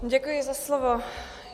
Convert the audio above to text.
Děkuji za slovo.